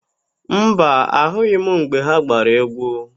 Mba, ahụghị m mgbe ha gbara égwú.